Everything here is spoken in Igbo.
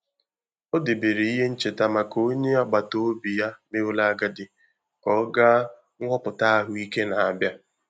Ọ debere ihe ncheta maka onye agbata obi ya meworo agadi ka ọ gaa nhọpụta ahụike na-abịa.